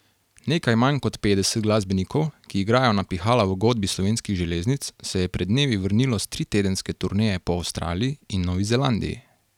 Nekaj manj kot petdeset glasbenikov, ki igrajo na pihala v Godbi Slovenskih železnic, se je pred dnevi vrnilo s tritedenske turneje po Avstraliji in Novi Zelandiji.